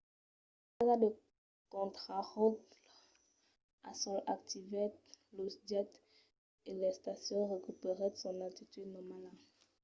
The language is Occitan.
la basa de contraròtle al sòl activèt los jets e l'estacion recuperèt son altitud normala